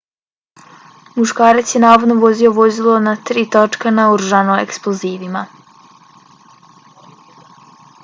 muškarac je navodno vozio vozilo na tri točka naoružano eksplozivima